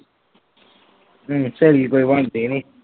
ਹਮ ਸਹੇਲੀ ਕੋਈ ਬਣਦੀ ਨੀ।